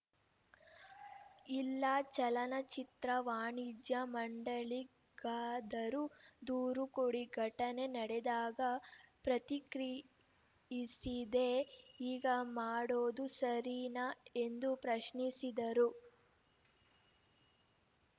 ಇಲ್ಲ ಚಲನಚಿತ್ರ ವಾಣಿಜ್ಯ ಮಂಡಳಿಗಾದರೂ ದೂರು ಕೊಡಿ ಘಟನೆ ನಡೆದಾಗ ಪ್ರತಿಕ್ರಿಯಿಸಿದೇ ಈಗ ಮಾಡೋದು ಸರೀನಾ ಎಂದು ಪ್ರಶ್ನಿಸಿದರು